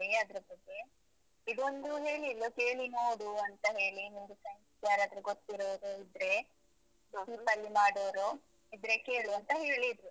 ಅದ್ರ ಬಗ್ಗೆ ಇದೊಂದು ಹೇಳಿದ್ಲು ಕೇಳಿ ನೋಡು ಅಂತ ಹೇಳಿ. ನಿಂಗೆ friends ಗೆ ಯಾರಾದ್ರೂ ಗೊತ್ತಿರೋರು ಇದ್ರೆ cheap ಲಿ ಮಾಡೋರು ಇದ್ರೆ ಕೇಳು ಅಂತ ಹೇಳಿದ್ರು.